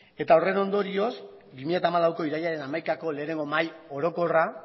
eta horren ondorioz bi mila hamalauko irailaren hamaikako lehenengo mahai orokorra